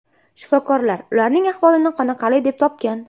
Shifokorlar ularning ahvolini qoniqarli deb topgan.